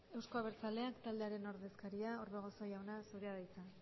euzko abertzaleak taldearen ordezkaria orbegozo jauna zurea da hitza